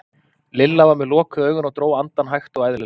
Lilla var með lokuð augun og dró andann hægt og eðlilega.